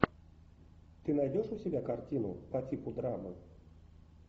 ты найдешь у себя картину по типу драмы